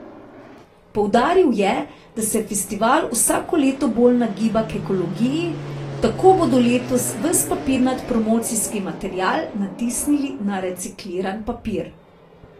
Poudaril je, da se festival vsako leto bolj nagiba k ekologiji, tako bodo letos ves papirnat promocijski material natisnili na recikliran papir.